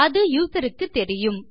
அது யூசர் க்கு தெரியும்